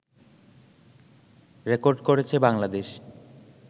record করেছে বাংলাদেশ